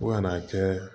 Fo ka n'a kɛ